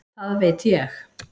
Það veit ég.